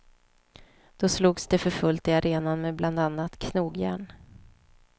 Då slogs det för fullt i arenan med bland annat knogjärn.